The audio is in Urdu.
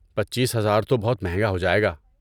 پچیس ہزار تو بہت مہنگا ہو جائے گا